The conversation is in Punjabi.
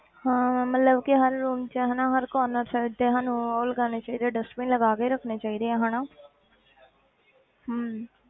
ਹਾਂ ਮਤਲਬ ਕਿ ਹਰ room 'ਚ ਹਨਾ ਹਰ ਕੋਰਨਰ 'ਚ ਤੇ ਸਾਨੂੰ ਉਹ ਲਗਾਉਣੇ ਚਾਹੀਦੇ ਆ dustbin ਲਗਾ ਕੇ ਰੱਖਣੇ ਚਾਹੀਦੇ ਆ ਹਨਾ ਹਮ